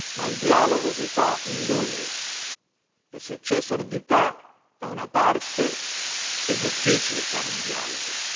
Ma il dialogo si fa in due, e se c'è sordità da una parte è difficile fare un dialogo.